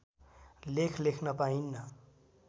लेख लेख्न पाइन्न